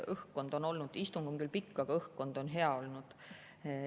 Tõepoolest, istung on küll pikk, aga õhkkond on hea olnud.